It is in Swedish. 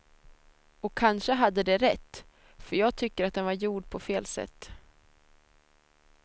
Och kanske hade de rätt, för jag tycker att den var gjord på fel sätt.